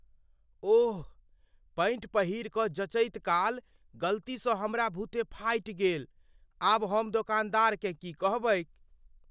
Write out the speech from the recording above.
ओह, pant पहिरि कऽ जँचैत काल गलतीसँ हमरा बुते फाटि गेल। आब हम दोकानदारकेँ की कहबैक?